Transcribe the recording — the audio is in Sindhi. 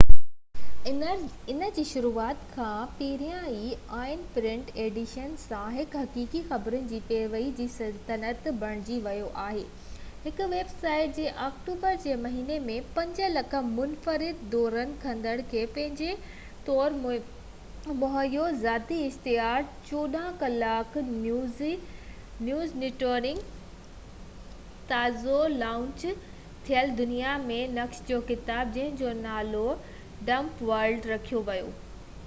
ان جي شروعات کان ئي، آنين پرنٽ ايڊيشن سان، هڪ حقيقي خبرن جي پيروڊي جي سلطنت بڻجي ويو آهي، هڪ ويب سائيٽ جنهن آڪٽوبر جي مهيني ۾ 5,000,000 منفرد دورو ڪندڙن کي پنهنجي طرف موهيو، ذاتي اشتهار، 24 ڪلاڪ نيوز نيٽورڪ، پوڊڪاسٽ، ۽ تازو لانچ ٿيل دنيا جي نقشن جو ڪتاب جنهن جو نالو ڊمپ ورلڊ رکيو ويو